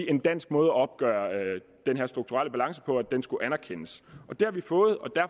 en dansk måde at opgøre den her strukturelle balance på og at den skulle anerkendes det har vi fået